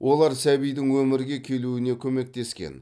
олар сәбидің өмірге келуіне көмектескен